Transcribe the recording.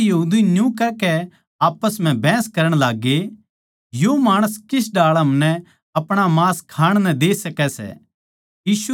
इसपै यहूदी न्यू कहकै आप्पस म्ह बहस करण लागगे यो माणस किस ढाळ हमनै अपणा मांस खाण नै दे सकै सै